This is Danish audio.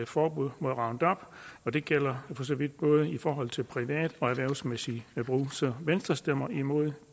forbud mod roundup og det gælder for så vidt både i forhold til privat og erhvervsmæssig brug så venstre stemmer imod